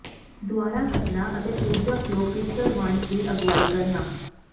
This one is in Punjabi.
ਦੁਆਰਾ ਕੱਟਣਾ ਅਤੇ ਊਰਜਾ ਫਲੋ ਕ੍ਰਿਸਟਲ ਵਂਡਸ ਦੀ ਅਗਵਾਈ ਕਰਨਾ